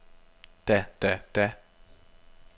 da da da